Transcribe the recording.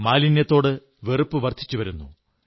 മാലിന്യത്തോട് വെറുപ്പും വർധിച്ചുവരുന്നു